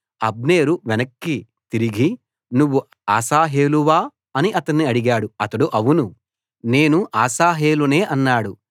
అబ్నేరు వెనక్కి తిరిగి నువ్వు అశాహేలువా అని అతణ్ణి అడిగాడు అతడు అవును నేను అశాహేలునే అన్నాడు